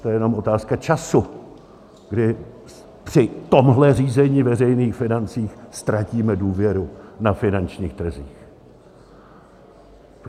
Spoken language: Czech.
To je jenom otázka času, kdy při tomhle řízení veřejných financí ztratíme důvěru na finančních trzích.